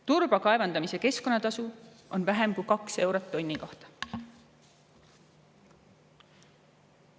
Turba kaevandamise keskkonnatasu on vähem kui 2 eurot tonni kohta.